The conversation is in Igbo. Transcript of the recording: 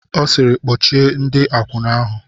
Ọ sịịrị, kpọchie ndị akwụna ahụ!